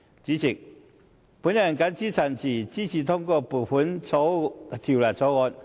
主席，我謹此陳辭，支持通過《2018年撥款條例草案》。